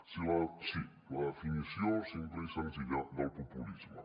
sí la definició simple i senzilla del populisme